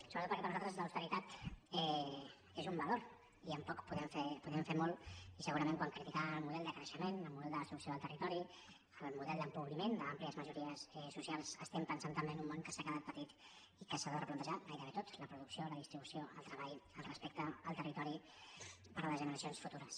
sobretot perquè per nosaltres l’austeritat és un valor i amb poc podem fer molt i segurament quan criticàvem el model de creixement el model de destrucció del territori el model d’empobriment d’àmplies majories socials estem pensant també en un món que s’ha quedat petit i que s’ha de replantejar gairebé tot la producció la distribució el treball el respecte al territori per a les generacions futures